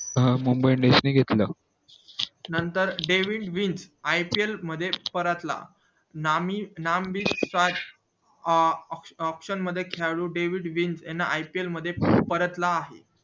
अं mumbai indians ने घेतलं नंतर डेव्हिड विल ipl मध्ये परतला नामी नाम अं option मध्ये खेळाडू डेव्हिड विल याना ipl मध्ये परतला